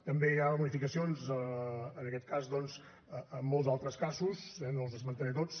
també hi ha bonificacions doncs en molts altres casos eh no els esmentaré tots